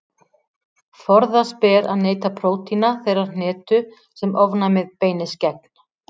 Forðast ber að neyta prótína þeirrar hnetu sem ofnæmið beinist gegn.